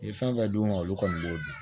U ye fɛn fɛn d'u ma olu kɔni b'o di